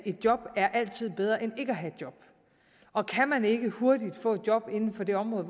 et job altid er bedre end ikke at have et job og kan man ikke hurtigt få et job inden for det område